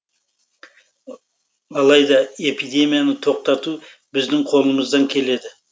алайда эпидемияны тоқтату біздің қолымыздан келеді